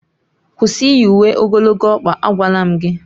kwụsị iyi uwe ogologo ọkpa, agwala m gị!